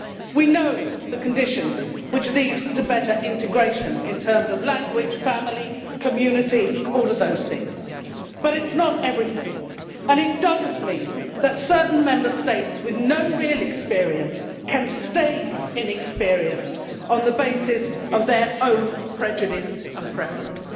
We know the conditions which lead to better integration in terms of language, family, community, all of those things but it is not everything and it does not mean that certain Member States with no real experience can stay inexperienced on the basis of their own prejudice and preference.